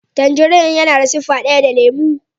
Tangin yana da siffa daya da lemo.